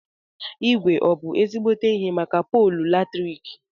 Ígwé ọ bụ ezígbóté ihe màkà poolu latriki?